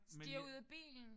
Stiger ud af bilen?